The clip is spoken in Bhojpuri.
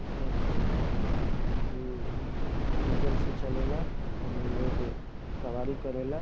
इ टेंपू ह जे की डीजल से चलेला एमे लोग सवारी करेला ।